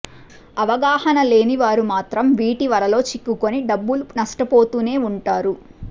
అవగాహన లేని వారు మాత్రం వీటి వలలో చిక్కుకుని డబ్బులు నష్టపోతూనే ఉంటారు